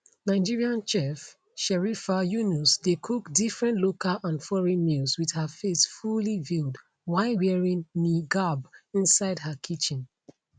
nigerian chef sherifah yunus dey cook different local and foreign meals wit her face fully veiled while wearing niqab inside her kitchen